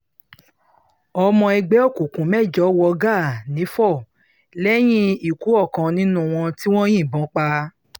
ọmọ ẹgbẹ́ òkùnkùn mẹ́jọ wọ gàá nifo lẹ́yìn ikú ọkàn nínú wọn tí wọ́n yìnbọn pa